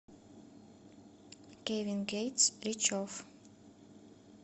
кевин гейтс рич офф